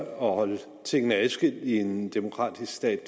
holde tingene adskilt i en demokratisk stat